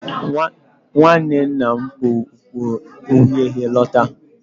Nwanne nna m kpu okpu uhie uhie lọta.